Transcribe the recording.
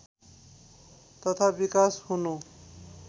तथा विकास हुनु